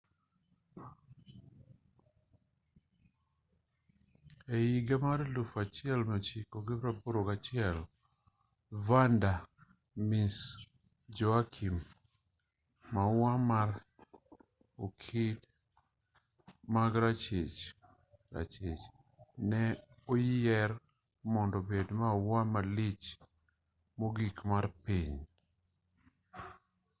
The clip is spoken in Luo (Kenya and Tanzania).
e higa mar 1981 vanda miss joaquim maua mar okid ma rachich rachich ne oyier mondo obed maua malich mogik mar piny